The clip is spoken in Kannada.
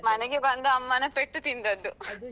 ಮನೆಗೆ ಬಂದು ಅಮ್ಮನ ಪೆಟ್ಟು ತಿಂದದ್ದು